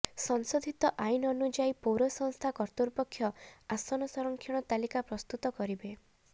ସଂେଶାଧିତ ଆଇନ ଅନୁଯାୟୀ ପୌର ସଂସ୍ଥା କର୍ତ୍ତୃପକ୍ଷ ଆସନ ସଂରକ୍ଷଣ ତାଲିକା ପ୍ରସ୍ତୁତ କରିବେ